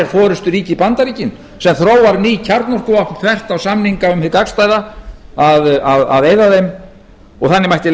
í forusturíki bandaríki sem þróar ný kjarnorkuvopn þvert á samninga um hið gagnstæða að eyða þeim og þannig mætti